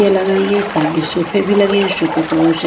ये लगाई है सामने सोफे भी लगे है सोफे पर वो श--